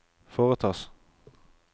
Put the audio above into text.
foretas